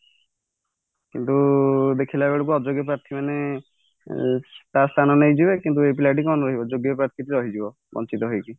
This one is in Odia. କିନ୍ତୁ ଦେଖିଲା ବେଳକୁ ଅଯୋଗ୍ୟ ପ୍ରାଥିମାନେ ତା ସ୍ଥାନ ନେଇ ଯିବେ କିନ୍ତୁ ଏଇ ପିଲାଟି କଣ ରହିବ ଯୋଗ୍ୟ ପ୍ରାଥିରୁ ରହିଯିବ ବଞ୍ଚିତ ହେଇକି